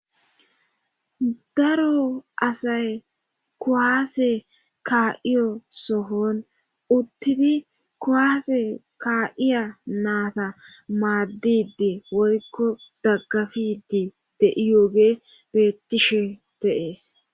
Daro asay kuwaase kaa7iyo sohon uttidi kowaase kaa7iya naata maaddidi woykko daggafidi deiyoogee beettishe deees